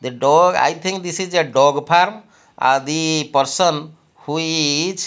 the dog i think this is a dog park ahh the person who is --